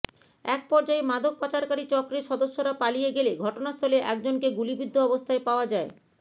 এক পর্যায়ে মাদক পাচারকারী চক্রের সদস্যরা পালিয়ে গেলে ঘটনাস্থলে একজনকে গুলিবিদ্ধ অবস্থায় পাওয়া যায়